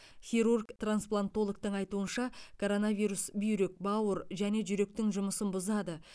хирург трансплантологтың айтуынша коронавирус бүйрек бауыр және жүректің жұмысын бұзады